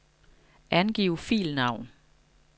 Angiv filnavn.